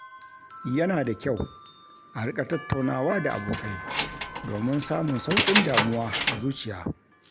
Yana da kyau a rika tattaunawa da abokai domin samun sauƙi damuwa a zuciya